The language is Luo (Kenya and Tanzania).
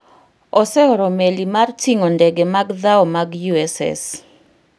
oseoro meli mar ting'o ndege mag dhao mag USS